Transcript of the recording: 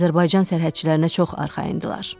Azərbaycan sərhədçilərinə çox arxayın idilər.